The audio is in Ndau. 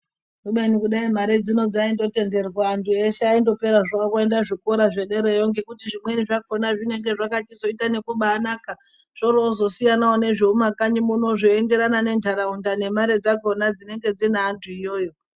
Kubeni dai mare dzino dzaindotenderwa antu eshe andopera zvavo kuenda zvikora zvederayo. Ngekuti zvimweni zvakona zvinonga zvakachizota nekubanaka, oro zvozosiyanavo nezvemumakanyi muno zveienderana nentaraunda nemare dzakona dzinenge dzine antu iyoyo.